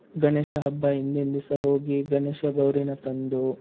ಗಣೇಶ ಹಬ್ಬ ಹಿಂದಿನ್ ದಿವ್ಸ ಹೋಗಿ ಗಣೇಶ ಗೌರಿನ ತಂದು,